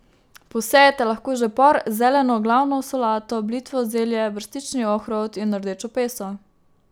Posejete lahko že por, zeleno, glavno solato, blitvo, zelje, brstični ohrovt in rdečo peso.